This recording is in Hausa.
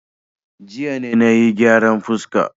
Jiya ne na yi gyaran fuska.